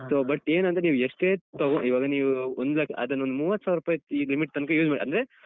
So, but ಏನಂದ್ರೆ ನೀವು ಎಷ್ಟೇ ತಗೋಳಿ ಇವಾಗ ನೀವು ಒಂದ್ ಲಕ್ಷ ಅದನ್ನೊಂದು ಮೂವತ್ ಸಾವ್ರುಪಾಯಿದ್ ಅಹ್ ಈ limit ತನ್ಕ use ಮಾಡಿ ಅಂದ್ರೆ.